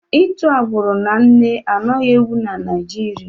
Itu agbụrụ na nne anaghi-ewi na Naịjirịa.